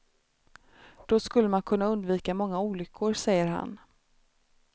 Då skulle man kunna undvika många olyckor, säger han.